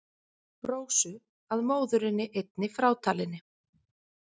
Rósu að móðurinni einni frátalinni.